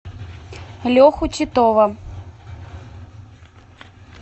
леху титова